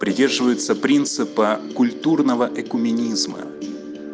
придерживается принципа культурного экуменизма